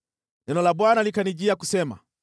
Neno la Bwana likanijia kusema: